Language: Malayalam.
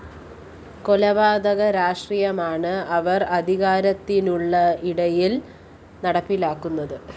കൊലപാതക രാഷ്ട്രീയമാണ് അവര്‍ അധികാരത്തിലുള്ളയിടങ്ങളില്‍ നടപ്പിലാക്കുന്നത്